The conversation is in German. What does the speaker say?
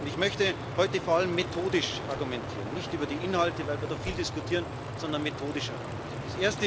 Ich möchte heute vor allem methodisch argumentieren, nicht über die Inhalte, weil wir da viel diskutieren, sondern methodisch argumentieren.